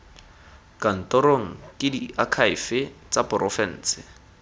kantorong ke diakhaefe tsa porofense